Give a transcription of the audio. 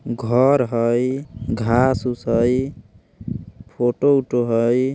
घर हई घास ऊस हई फोटो - उटो हई।